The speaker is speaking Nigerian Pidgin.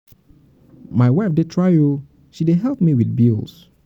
my wife dey try oo she dey help me with me with bills.